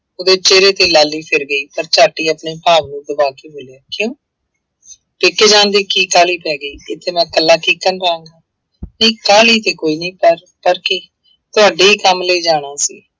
ਉਹਦੇ ਚਿਹਰੇ ਤੇ ਲਾਲੀ ਛਿੜ ਗਈ ਪਰ ਝੱਟ ਹੀ ਆਪਣੇ ਭਾਵ ਨੂੰ ਦਬਾ ਕੇ ਬੋਲਿਆ ਕਿਉਂ ਪੇਕੇ ਜਾਣ ਦੀ ਕੀ ਕਾਹਲੀ ਪੈ ਗਈ, ਇੱਥੇ ਮੈਂ ਇਕੱਲਾ ਕਿੱਕਣ ਰਹਾਂਗਾ ਨਹੀਂ ਕਾਹਲੀ ਤੇ ਕੋਈ ਨੀ ਪਰ, ਪਰ ਕੀ? ਤੁਹਾਡੇ ਹੀ ਕੰਮ ਲਈ ਜਾਣਾ ਸੀ।